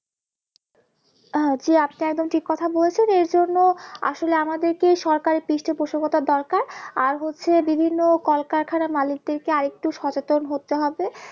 আহ জি আপনি একদম ঠিক কথা বলেছেন এর জন্য আসলে আমাদেরকেই সরকারের পৃষ্ঠপোষকতা দরকার আর হচ্ছে বিভিন্ন কলকারখানার মালিকদেরকে আরেকটু সচেতন হতে হবে